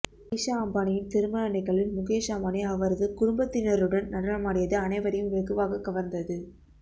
இஷா அம்பானியின் திருமண நிகழ்வில் முகேஷ் அம்பானி அவரது குடும்பத்தினருடன் நடனமாடியது அனைவரையும் வெகுவாக கவர்ந்தது